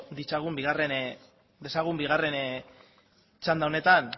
ditzagun dezagun bigarren txanda honetan